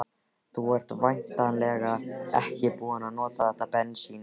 Þú ert væntanlega ekki búinn að nota þetta bensín?